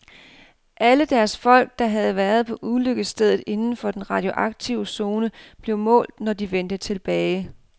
Alle deres folk, der havde været på ulykkesstedet inden for den radioaktive zone, blev målt, når de vendte tilbage.